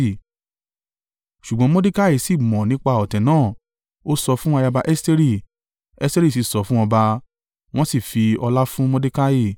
Ṣùgbọ́n Mordekai sì mọ̀ nípa ọ̀tẹ̀ náà, ó sọ̀ fún ayaba Esteri, Esteri sì sọ fún ọba, wọ́n sì fi ọlá fún Mordekai.